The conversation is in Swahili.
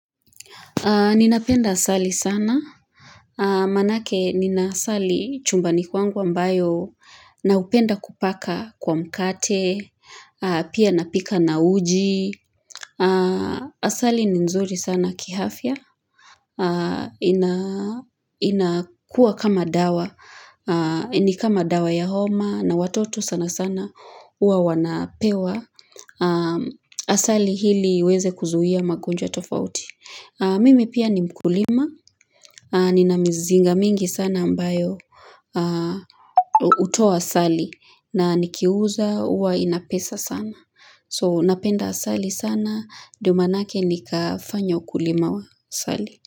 Ninapenda asali sana, maanake nina asali chumbani kwangu ambayo na hupenda kupaka kwa mkate, pia napika na uji, asali ni nzuri sana kihafya, inakua kama dawa, ni kama dawa ya homa na watoto sana sana uwa wanapewa, asali hili iweze kuzuia magonjwa tofauti. Mimi pia ni mkulima. Nina mizinga mingi sana ambayo hutoa asali na nikiuza huwa inapesa sana. So napenda asali sana. Ndio maanake nikafanya ukulima wa asali.